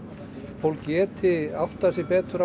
fólk geti áttað sig betur á